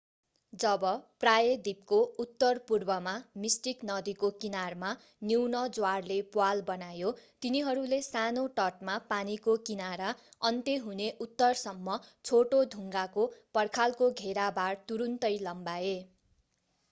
जब प्रायद्वीपको उत्तरपूर्वमा मिस्टिक नदीको किनारमा न्यून ज्वारले प्वाल बनायो तिनीहरूले सानो तटमा पानीको किनारा अन्त्य हुने उत्तरसम्म छोटो ढुङ्गाको पर्खालको घेराबार तुरुन्तै लम्ब्याए